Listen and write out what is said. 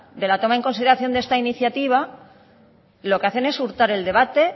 de la toma de consideración de esta iniciativa lo que hacen es hurtar el debate